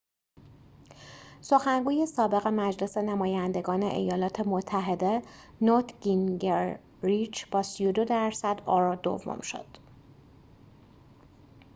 سخنگوی سابق مجلس نمایندگان ایالات متحده نوت گینگریچ با ۳۲ درصد آرا دوم شد